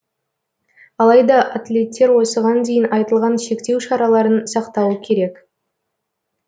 алайда атлеттер осыған дейін айтылған шектеу шараларын сақтауы керек